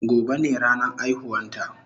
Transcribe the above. Gobe ne ranan aihuwan ta